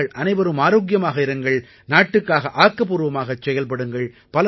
நீங்கள் அனைவரும் ஆரோக்கியமாக இருங்கள் நாட்டுக்காக ஆக்கப்பூர்வமாக செயல்படுங்கள்